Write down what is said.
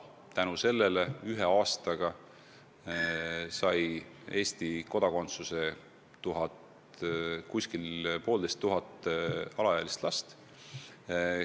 Tänu sellele sai ühe aastaga Eesti kodakondsuse poolteist tuhat last.